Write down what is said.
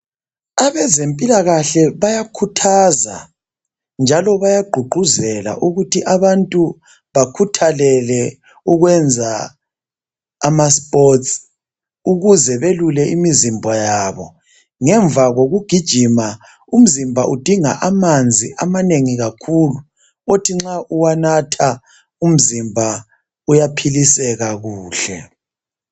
Abezempilakahle bayakhuthaza njalo bayagqugquzela ukuthi abantu bakhuthakele ukwenza ama"sports" ukuze belule imizimba yabo ngemva kokugijima umzimba udinga amanzi amanengi kakhulu othi nxa uwanatha umzimba uyaphiliseka kuhle.